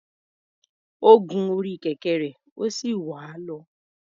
Ó gun orí kẹ̀kẹ́ rẹ̀, ó sì wà á lọ.